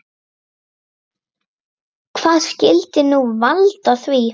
Hvað skyldi nú valda því?